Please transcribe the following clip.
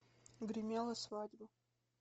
гремела свадьба